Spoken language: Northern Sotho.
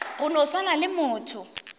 go no swana le motho